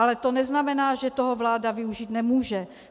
Ale to neznamená, že toho vláda využít nemůže.